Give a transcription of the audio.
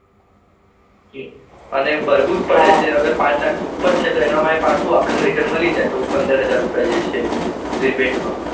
અને ભરવું જ છે અગર પાંચ લાખ ઉપર છે તો એમાં એ પાછું return માં ચૌદ પંદર હજાર એ રિબેટ માં